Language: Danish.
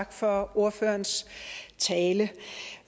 tak for ordførerens tale